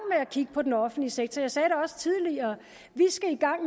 at kigge på den offentlige sektor jeg sagde det også tidligere vi skal i gang